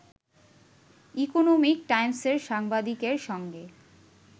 economic টাইমসের সাংবাদিকের সঙ্গে